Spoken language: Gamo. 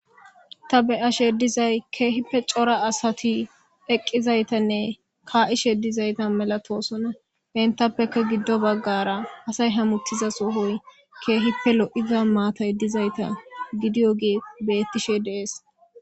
ta beyashe dizay keehippe cora asati eqqizaytanne kaa7ishe dizayta melatosona hentappeka giddo baggara asay hamuttiza sohoy keehippe lo7iza maatay dizayta gidiyo gi bettishe deees